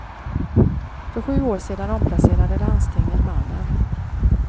För sju år sedan omplacerade landstinget mannen.